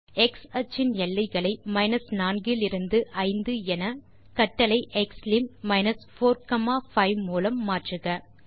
x அச்சின் எல்லைகளை 4 இலிருந்து 5 என கட்டளை xlim 45 மூலம் மாற்றுக